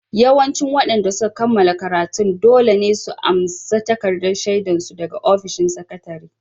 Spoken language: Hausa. Yawancin waɗanda suka kammala karatun dole ne su amsa takardar shaidar su daga ofishin sakatare